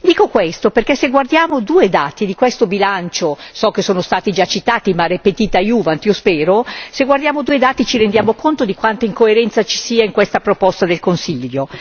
Dico questo perché se guardiamo due dati di questo bilancio so che sono stati già citati ma repetita iuvant io spero se guardiamo due dati ci rendiamo conto di quanta incoerenza ci sia in questa proposta del Consiglio.